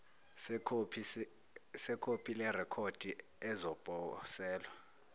sekhophi lerekhodi ezoposelwa